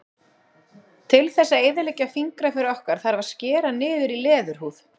Til þess að eyðileggja fingraför okkar þarf að skera niður í leðurhúð.